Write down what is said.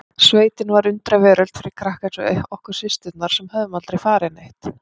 Sveitin var undraveröld fyrir krakka eins og okkur systurnar sem höfðum aldrei farið neitt.